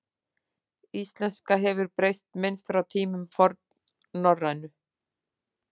Íslenska hefur breyst minnst frá tíma fornnorrænu.